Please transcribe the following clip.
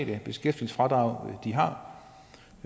det beskæftigelsesfradrag de har